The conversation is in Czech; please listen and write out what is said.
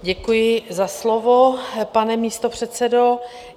Děkuji za slovo, pane místopředsedo.